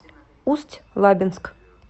усть лабинск